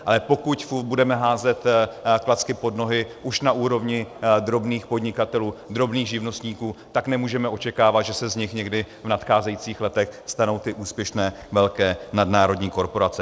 Ale pokud budeme házet klacky pod nohy už na úrovni drobných podnikatelů, drobných živnostníků, tak nemůžeme očekávat, že se z nich někdy v nadcházejících letech stanou ty úspěšné velké nadnárodní korporace.